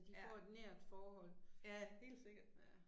Ja. Ja, helt sikkert